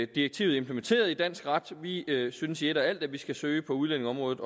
direktivet implementeret i dansk ret vi synes i et og alt at vi skal søge på udlændingeområdet